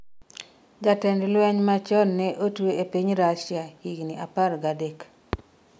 jatend lweny machon ne otwe e piny Rasia higni apar gi adek